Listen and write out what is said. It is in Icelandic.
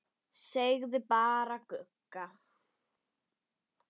Segja bara Gugga.